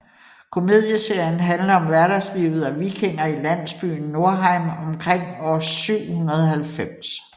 Komedieserien handler om hverdagslivet af vikinger i landsbyen Norheim omkring år 790